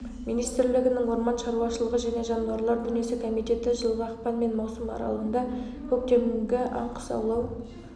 министрлігінің орман шаруашылығы және жануарлар дүниесі комитеті жылғы ақпан мен маусым аралығында көктемгі аң-құс аулау